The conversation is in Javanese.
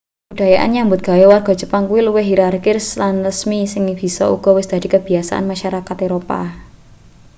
kabudayan nyambut gawe warga jepang kuwi luwih hirarkis lan resmi sing bisa uga wis dadi kabiyasane masarakat eropa